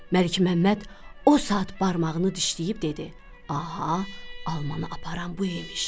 Məlikməmməd o saat barmağını dişləyib dedi: Aha, almanı aparan bu imiş.